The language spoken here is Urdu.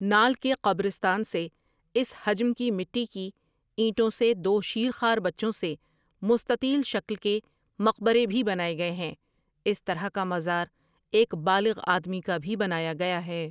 نال کے قبرستان سے اس حجم کی مٹی کی اینٹوں سے دو شیر خوار بچوں سے مستطیل شکل کے مقبرے بھی بنائے گئے ہیں اس طرح کا مزار ایک بالغ آدمی کا بھی بنایا گیا ہے ۔